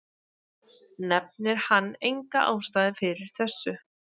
Nefnir hann enga ástæðu fyrir þessu.